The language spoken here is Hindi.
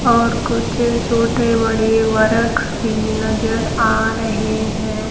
और कुछ छोटे-बड़े वृक्ष भी नजर आ रहे हैं।